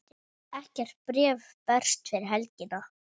Ekkert bréf berst fyrir helgi.